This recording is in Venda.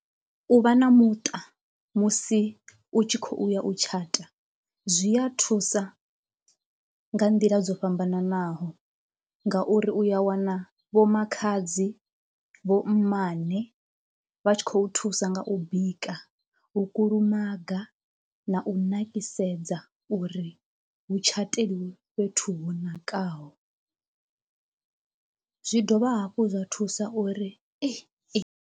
U vha na muṱa musi u tshi khou ya u tshata zwi ya thusa nga nḓila dzo fhambananaho, ngauri uya wana vho makhadzi, vho mmane vha tshi khou thusa nga u bika, u kulumaga, na u nakisedza uri hu tshateliwe fhethu ho nakaho. Zwi dovha hafhu zwa thusa uri .